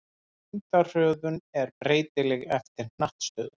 Þyngdarhröðun er breytileg eftir hnattstöðu.